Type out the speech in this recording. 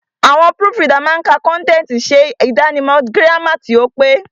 Àwọn púrùfù ridà máa ka kọ́ntẹ̀tì, ṣe àdáni mọ̀ gírámà tí ó pé.